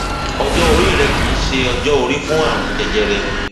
ọjọ orí rẹ kìí ṣe ọjọ orí fún ààrùn jẹjẹrẹ